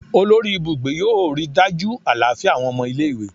Olori ibugbe yoo rii daju alafia awọn ọmọ ile-iwe